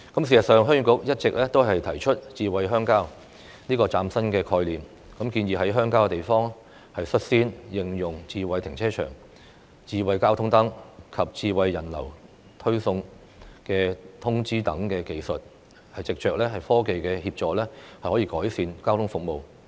事實上，鄉議局一直提出"智慧鄉郊"這個嶄新的概念，建議在鄉郊地區率先應用"智慧停車場"、"智慧交通燈"及"智慧人流推送通知"等技術，藉着科技的協助改善交通服務。